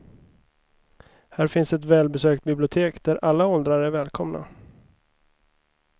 Här finns ett välbesökt bibliotek där alla åldrar är välkomna.